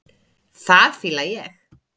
Það fíla ég.